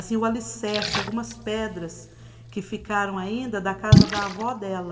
Assim, o alicerce, algumas pedras que ficaram ainda da casa da avó dela.